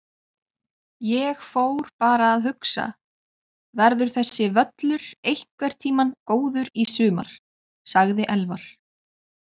Ég fór bara að hugsa: Verður þessi völlur einhvern tímann góður í sumar? sagði Elvar.